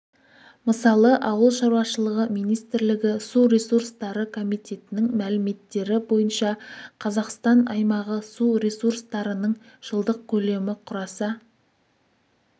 мысалы ауылшаруашылығы министрлігі су ресурстары комитетінің мәліметтері бойынша қазақстан аймағы су ресурстарының жылдық көлемі құраса